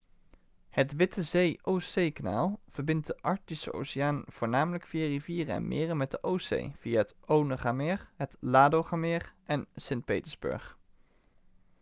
het witte zee-oostzeekanaal verbindt de arctische oceaan voornamelijk via rivieren en meren met de oostzee via het onegameer het ladogameer en st. petersburg